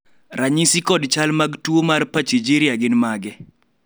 ranyisi kod chal mag tuo mar Pachygyria gin mage?